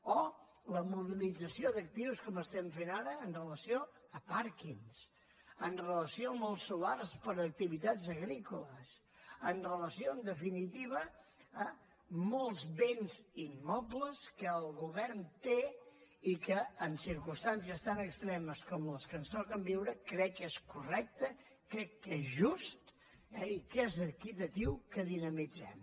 o la mobilització d’actius com fem ara amb relació a pàrquings amb relació a molts solars per a activitats agrícoles amb relació en definitiva a molts béns immobles que el govern té i que en circumstàncies tan extremes com les que ens toquen viure crec que és correcte crec que és just eh i que és equitatiu que dinamitzem